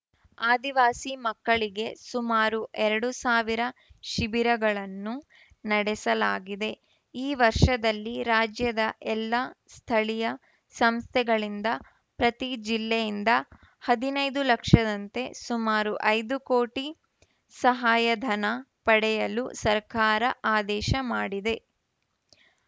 ಆದಿವಾಸಿ ಮಕ್ಕಳಿಗೆ ಸುಮಾರು ಎರಡು ಸಾವಿರ ಶಿಬಿರಗಳನ್ನು ನಡೆಸಲಾಗಿದೆ ಈ ವರ್ಷದಲ್ಲಿ ರಾಜ್ಯದ ಎಲ್ಲಾ ಸ್ಥಳೀಯ ಸಂಸ್ಥೆಗಳಿಂದ ಪ್ರತಿ ಜಿಲ್ಲೆಯಿಂದ ಹದಿನೈದು ಲಕ್ಷದಂತೆ ಸುಮಾರು ಐದು ಕೋಟಿ ಸಹಾಯಧನ ಪಡೆಯಲು ಸರ್ಕಾರ ಆದೇಶ ಮಾಡಿದೆ